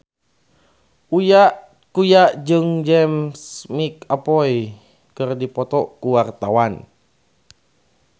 Uya Kuya jeung James McAvoy keur dipoto ku wartawan